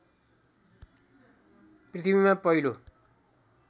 पृथ्वीमा पहिलो